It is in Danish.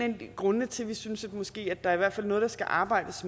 grundene til at vi synes at der måske er noget der skal arbejdes